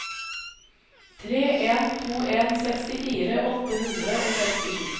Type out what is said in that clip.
tre en to en sekstifire åtte hundre og sekstisju